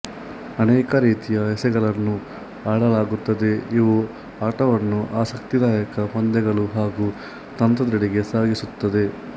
ಅನೇಕ ರೀತಿಯ ಎಸೆಗಳನ್ನು ಆಡಲಾಗುತ್ತದೆ ಇವು ಆಟವನ್ನು ಆಸಕ್ತಿದಾಯಕ ಪಂದ್ಯಗಳು ಹಾಗೂ ತಂತ್ರದೆಡೆಗೆ ಸಾಗಿಸುತ್ತದೆ